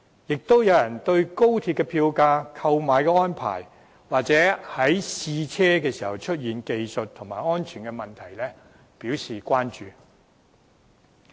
亦有人關注高鐵票價、購票安排或試車時出現的技術和安全問題。